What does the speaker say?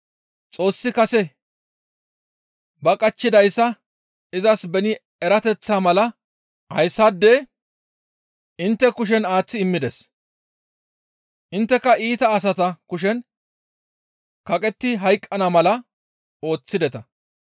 Xoossi kase ba qachchidayssa izas beni erateththaa mala hayssaade intte kushen aaththi immides. Intteka iita asata kushen kaqetti hayqqana mala ooththideta.